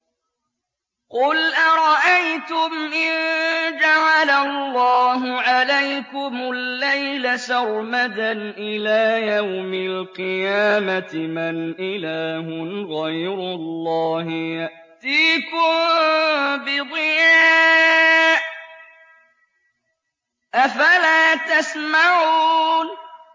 قُلْ أَرَأَيْتُمْ إِن جَعَلَ اللَّهُ عَلَيْكُمُ اللَّيْلَ سَرْمَدًا إِلَىٰ يَوْمِ الْقِيَامَةِ مَنْ إِلَٰهٌ غَيْرُ اللَّهِ يَأْتِيكُم بِضِيَاءٍ ۖ أَفَلَا تَسْمَعُونَ